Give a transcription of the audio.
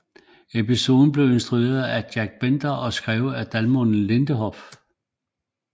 Episoden blev instrueret af Jack Bender og skrevet af Damon Lindelof